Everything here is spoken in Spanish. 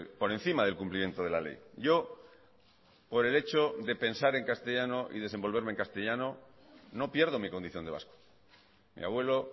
por encima del cumplimiento de la ley yo por el hecho de pensar en castellano y desenvolverme en castellano no pierdo mi condición de vasco mi abuelo